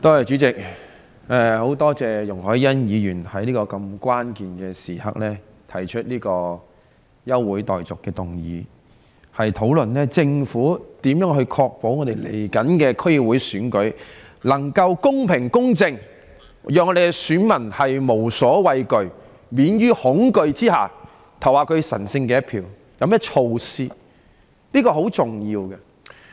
主席，我十分感謝容海恩議員在如此關鍵的時刻提出這項休會待續議案，讓本會有機會討論政府應如何確保臨近的區議會選舉能做到公平、公正，以便我們的選民可在免於恐懼的情況下投下神聖的一票。